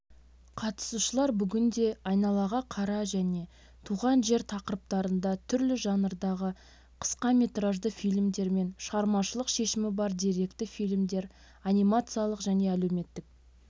қатысушылар бүгінде айналаға қара және туған жер тақырыптарында түрлі жанрдағы қысқаметражды фильмдер мен шығармашылық шешімі бар деректі фильмдер анимациялық және әлеуметтік